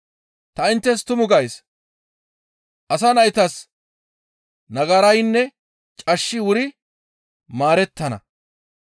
«Ta inttes tumu gays; asa naytas nagaraynne cashshi wuri maarettana.